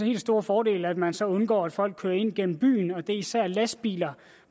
helt store fordel at man så undgår at folk kører ind igennem byen og det er især lastbilerne